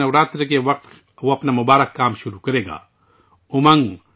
نوراتری کے وقت کوئی اس مبارک کام کو شروع کرنے کا انتظار کر رہا ہوگا